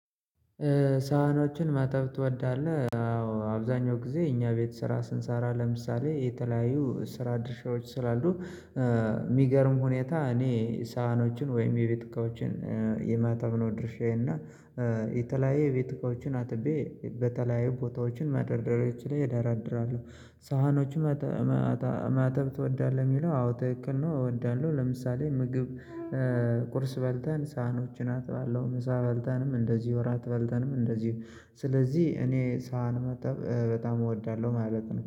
ሳህኖችን ማጠብ ትወዳለህ? አዎ አብዛኛው ጊዜ እኛ ቤት ስራ ስንሰራ ለምሳሌ የተለያዩ ስራ ድርሻዎች ስላሉ ሚገርም ሁኔታ እኔ ሳህኖችን ወይም የቤት እቃዎችን የማጠብ ነው ድርሻዬ እና የተለያየ የቤት እቃዎችን አጥቤ በተለያየ ቦታዎችን መደርደሪያዎች ላይ እደራደራለሁ ሳህኖችን ማጠብ ትወዳለህ ሚለው አዎ ትክክል ነው እወዳለሁ ለምሳሌ ምግብ ቁርስ በልተን ሳህኖችን አጥባለው ምሳ በልተንም እንደዚሁ እራት በልተንም እንደዚሁ ስለዚህ እኔ ሳህን ማጠብ በጣም እወዳለሁ ማለት ነው